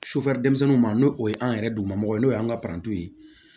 denmisɛnninw ma n'o o ye an yɛrɛ duguma mɔgɔ ye n'o y'an ka parantiw ye